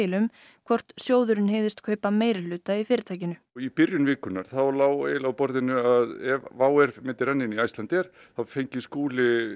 um hvor sjóðurinn hygðist kaupa meirihluta í fyrirtækinu í byrjun vikunnar lá á borðinu að ef myndi renna inn í Icelandair fengi Skúli